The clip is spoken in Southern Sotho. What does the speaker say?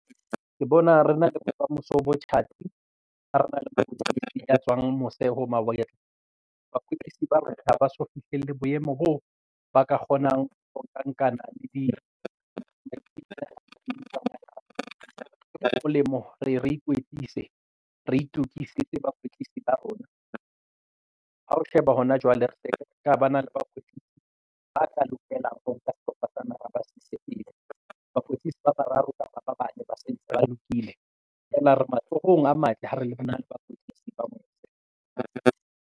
Ke bona re na le bokamoso bo tjhatsi ha rena le mokwetlisi a tswang mose ho mawatle. Bakwetlisi ba rona ha ba so fihlelle boemo boo ba ka kgonang ho nkana di molemo re e re ikwetlise re itokisetsa bakwetlisi ba rona. Ha o sheba hona jwale re ka ba na le bakwetlisi ba tla lokelang ho nka sehlopha sa naha ba se ise pele bakwetlisi ba bararo kapa bana ba sentse ba lokile and re matsohong a matle ha re na le bakwetlisi ba mose.